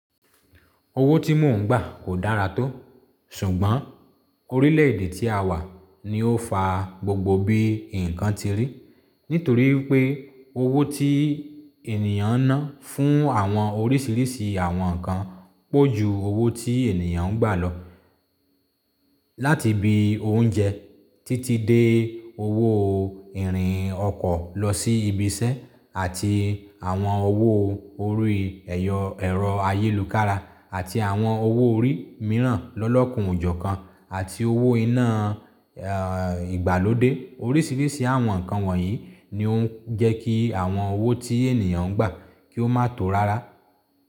Owó tí mò ń gbà kò dára tó, ṣùgbọ́n orílẹ̀ èdè tí a wà ní ó fa gbogbo bí nǹkan ti rí nítorí wípé owó tí ènìyàn ń ná fún àwọn oríṣiríṣi àwọn nǹkan pọ̀ ju owó tí ènìyàn ń gbà lọ. Láti ibi oúnjẹ títí dé owó ìrìn ọkọ̀ lọsí ibiṣẹ́ àti àwọn owó orí ẹ̀rọ ayélukára àti àwọn owó orí mìíràn lọ́lọ́kanjọ̀kan àti owó iná ìgbàlódé. Oríṣiríṣi àwọn nǹkan wọ̀nyí ni ó ń jẹ́ kí àwọn owó tí ènìyàn ń gbà kí ó má tó rárá.